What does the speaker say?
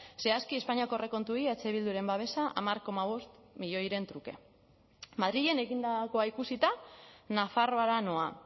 zehazki espainiako aurrekontuei eh bilduren babesa hamar koma bost milioiren truke madrilen egindakoa ikusita nafarroara noa